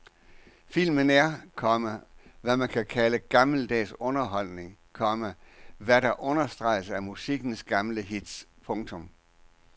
Filmen er, komma hvad man kan kalde gammeldags underholdning, komma hvad der understreges af musikkens gamle hits. punktum